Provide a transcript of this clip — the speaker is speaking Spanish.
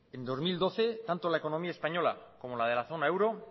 en dos mil doce tanto la economía española como la de la zona euro